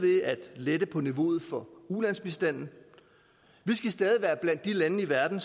lette på niveauet for ulandsbistanden vi skal stadig være blandt de lande i verden